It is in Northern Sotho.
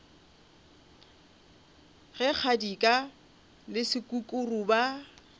ge kgadika le sekukuru ba